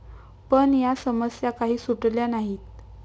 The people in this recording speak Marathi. पण या समस्या काही सुटल्या नाहीत.